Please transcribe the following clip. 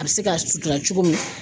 A bɛ se ka sutura cogo min